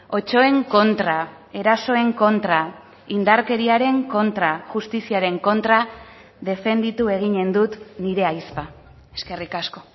otsoen kontra erasoen kontra indarkeriaren kontra justiziaren kontra defenditu egiten dut nire ahizpa eskerrik asko